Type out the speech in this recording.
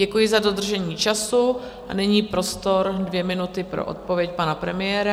Děkuji za dodržení času a nyní prostor dvě minuty pro odpověď pana premiéra.